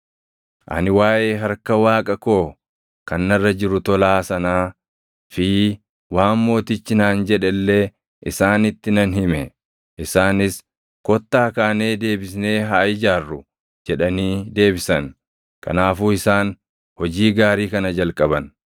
Ani waaʼee harka Waaqa koo kan narra jiru tolaa sanaa fi waan mootichi naan jedhe illee isaanitti nan hime. Isaanis, “Kottaa kaanee deebisnee haa ijaarru” jedhanii deebisan. Kanaafuu isaan hojii gaarii kana jalqaban.